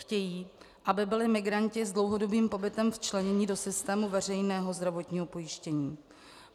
Chtějí, aby byli migranti s dlouhodobým pobytem včleněni do systému veřejného zdravotního pojištění.